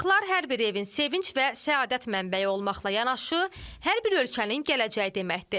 Uşaqlar hər bir evin sevinc və səadət mənbəyi olmaqla yanaşı, hər bir ölkənin gələcəyi deməkdir.